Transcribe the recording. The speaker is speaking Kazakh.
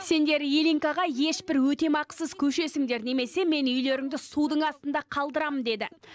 сендер ильинкаға ешбір өтемақысыз көшесіңдер немесе мен үйлеріңді судың астында қалдырамын деді